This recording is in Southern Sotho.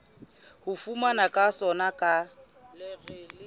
ho fanwa ka sona ka